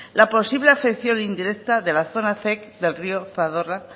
la posible afección indirecta de la zona del río zadorra